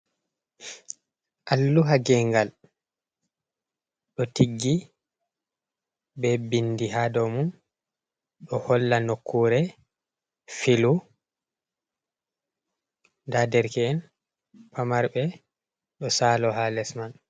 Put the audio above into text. Alluha gengal ɗo tiggi be bindi ha dou mum. Ɗo holla nokkure filu, nda derke'en pamarɓe ɗo salo ha les man.